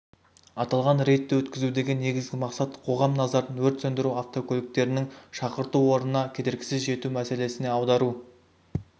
аталған рейдті өткізудегі негізгі мақсат қоғам назарын өрт сөндіру автокөліктерінің шақырту орнына кедергісіз жету мәселесіне аудару